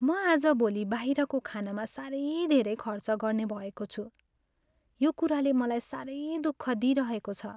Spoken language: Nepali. म आजभोलि बाहिरको खानामा साह्रै धेरै खर्च गर्ने भएको छु। यो कुराले मलाई साह्रै दुःख दिइरहेको छ।